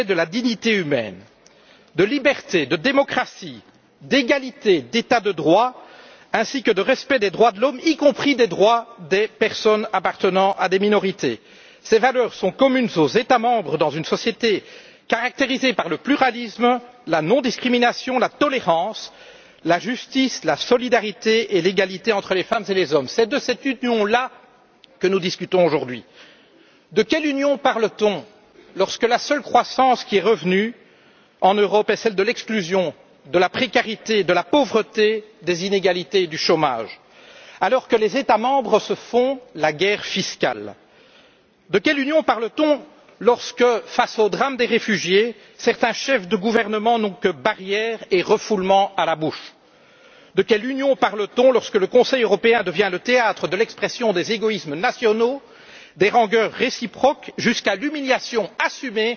L'Union européenne, mes chers collègues, est fondée sur les valeurs de respect de la dignité humaine, de liberté, de démocratie, d'égalité, d'état de droit ainsi que de respect des droits de l'homme, y compris des droits des personnes appartenant à des minorités. Ces valeurs sont communes aux États membres dans une société caractérisée par le pluralisme, la non discrimination, la tolérance, la justice, la solidarité et l'égalité entre les femmes et les hommes. C'est de cette union là que nous discutons aujourd'hui. De quelle union parle t on lorsque la seule croissance qui est revenue en Europe est celle de l'exclusion, de la précarité, de la pauvreté, des inégalités et du chômage alors que les États membres se font la guerre fiscale? De quelle union parle t on lorsque, face au drame des réfugiés, certains chefs de gouvernement n'ont que barrières et refoulement à la bouche? De quelle union parle t on lorsque le Conseil européen devient le théâtre de l'expression des égoïsmes nationaux, des rancœurs réciproques jusqu'à l'humiliation assumée